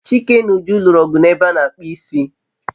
Chike na Uju lụrụ ọgụ n'ebe a n'akpụ isi